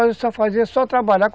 Nós fazíamos só trabalhar.